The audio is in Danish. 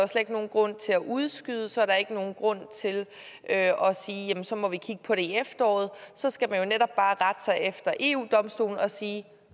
ikke nogen grund til at udskyde så er der ikke nogen grund til at sige at så må vi kigge på det i efteråret så skal man jo netop bare rette sig efter eu domstolen og sige